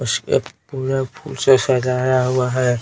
उसके पूरा फूल से सजाया हुआ है.